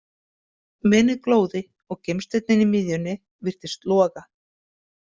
Menið glóði og gimsteinninn í miðjunni virtist loga.